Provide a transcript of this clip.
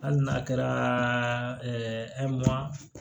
Hali n'a kɛra